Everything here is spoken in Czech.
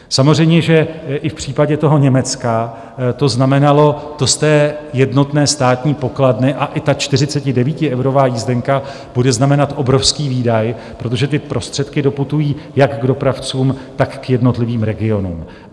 Samozřejmě že i v případě toho Německa to znamenalo to z jednotné státní pokladny a i ta 49eurová jízdenka bude znamenat obrovský výdaj, protože ty prostředky doputují jak k dopravcům, tak k jednotlivým regionům.